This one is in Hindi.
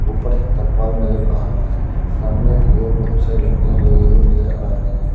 ऊपर तरपाल नजर आ रहा है सामने की ओर बहुत सारी लकडियां लगी हुई नजर आ रहे हैं।